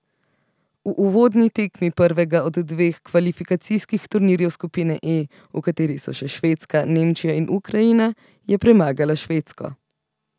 V uvodni tekmi prvega od dveh kvalifikacijskih turnirjev skupine E, v kateri so še Švedska, Nemčija in Ukrajina, je premagala Švedsko.